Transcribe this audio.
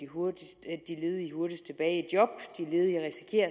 hurtigst tilbage i job de ledige risikerer